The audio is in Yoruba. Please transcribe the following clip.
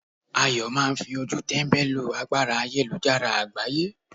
Ayo máà ń fi ojú tẹ́mbẹ́lú agbára ayélujára àgbáyé.